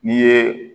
N'i ye